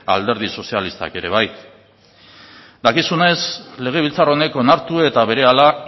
alderdi sozialistak ere bai dakizunez legebiltzar honek onartu eta berehala